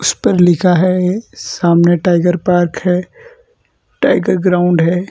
उस पर लिखा है सामने टाइगर पार्क है टाइगर ग्राउंड है।